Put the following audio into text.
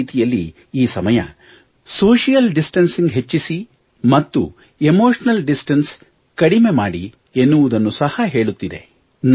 ಒಂದು ರೀತಿಯಲ್ಲಿ ಈ ಸಮಯವು ಸೋಶಿಯಲ್ ಡಿಸ್ಟಾನ್ಸಿಂಗ್ ಹೆಚ್ಚಿಸಿ ಮತ್ತು ಎಮೋಷನಲ್ ಡಿಸ್ಟನ್ಸ್ ಕಡಿಮೆ ಮಾಡಿ ಎನ್ನುವುದನ್ನು ಸಹಾ ಹೇಳುತ್ತಿದೆ